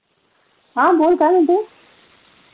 Good morning अग तुझ्याकड वेळ आहे का आज?